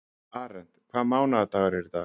Arent, hvaða mánaðardagur er í dag?